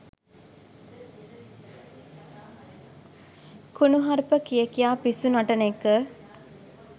කුණුහරුප කිය කියා පිස්සු නටන එක